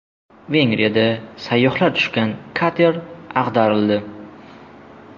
Vengriyada sayyohlar tushgan kater ag‘darildi.